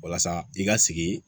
Walasa i ka sigi